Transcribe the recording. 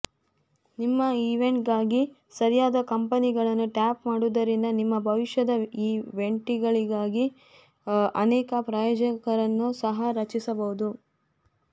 ನಿಮ್ಮ ಈವೆಂಟ್ಗಾಗಿ ಸರಿಯಾದ ಕಂಪನಿಗಳನ್ನು ಟ್ಯಾಪ್ ಮಾಡುವುದರಿಂದ ನಿಮ್ಮ ಭವಿಷ್ಯದ ಈವೆಂಟ್ಗಳಿಗಾಗಿ ಅನೇಕ ಪ್ರಾಯೋಜಕರನ್ನೂ ಸಹ ರಚಿಸಬಹುದು